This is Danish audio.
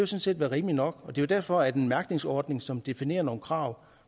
set være rimeligt nok og det er jo derfor at en mærkningsordning som definerer nogle krav